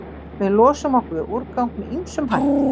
Við losum okkur við úrgang með ýmsum hætti.